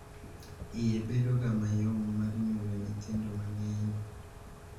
Iye bedogo mayom mar nyuolo nyithindo mang`eny.